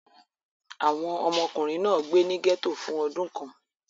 Àwọn ọmọkùnrin náà gbé ní gẹ́tò fún ọdún kan.